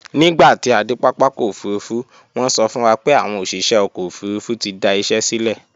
Nígbà tí a dé pápákọ̀ òfurufú, wọ́n sọ fún wa pé àwọn òṣìṣẹ́ ọkọ̀ òfurufú ti da iṣẹ sílẹ̀